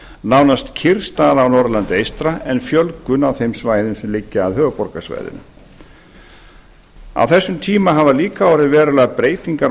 nánast kyrrstaða á norðurlandi eystra en fjölgun á þeim svæðum sem liggja að höfuðborgarsvæðinu á þessum tíma hafa líka orðið verulegar breytingar á